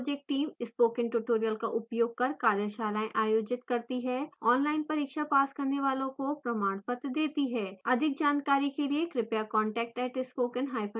spoken tutorial project teamspoken tutorial का उपयोग कर कार्यशालाएं आयोजित करती है ऑनलाइन परीक्षा पास करने वालों को प्रमाण पत्र देती है अधिक जानकारी के लिए कृपया contact @spokentutorial org पर लिखें